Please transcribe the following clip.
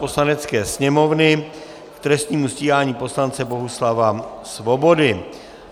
Poslanecké sněmovny k trestnímu stíhání poslance Bohuslava Svobody